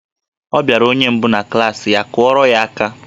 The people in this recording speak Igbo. Ọ bịara onye nke mbụ na klaasị ya, kụọrọ ya aka!